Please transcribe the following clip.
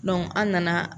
an nana